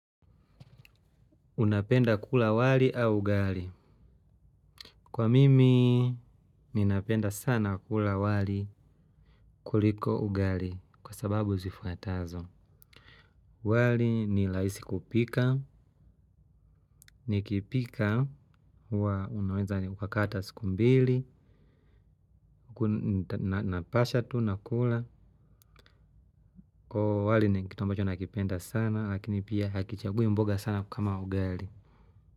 Unapenda kula wali au ugali? Kwa mimi, ninapenda sana kula wali kuliko ugali kwa sababu zifuatazo. Wali ni rahisi kupika, nikipika, unaweza ukakaa hata siku mbili, napasha tu, nakula. Kwa wali, ni kitu ambacho nakipenda sana, lakini pia hakichagui mboga sana kama ugali.